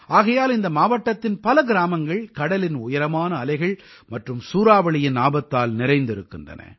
ஆகையால் இந்த மாவட்டத்தின் பல கிராமங்கள் கடலின் உயரமான அலைகள் மற்றும் சூறாவளியின் ஆபத்தால் நிறைந்திருக்கின்றன